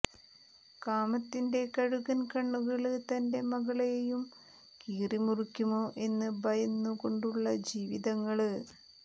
കാമത്തിന്റെ കഴുകന് കണ്ണുകള് തന്റെ മകളെയും കീറിമുറിക്കുമോ എന്ന് ഭയന്നുകൊണ്ടുള്ള ജീവിതങ്ങള്